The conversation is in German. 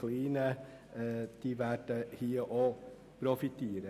auch sie werden profitieren.